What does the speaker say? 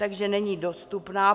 Takže není dostupná.